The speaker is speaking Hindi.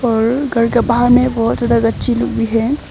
और घर का बाहर में बहुत ज्यादा गच्छि लुबी है।